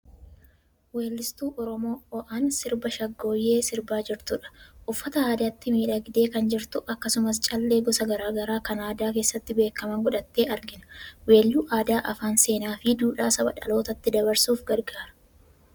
Weellistuu Oromoo oan sirba 'Shaggooyyee' sirbaa jirtudha. Uffata aadaatii miidhagdee kan jirtu akkasumas callee gosa gara garaa kan aadaa keessatti beekaman godhattee argina. Weelluun aadaa, afaan, seenaa fi duudhaa saba dhalootatti dabarsuuf gargaara.